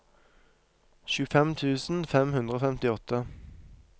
tjuefem tusen fem hundre og femtiåtte